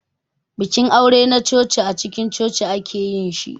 Bikin aure na coci acikin coci ake yin shi.